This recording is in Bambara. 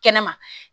Kɛnɛma